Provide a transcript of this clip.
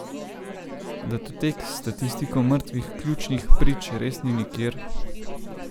Datotek s statistiko mrtvih ključnih prič res ni nikjer?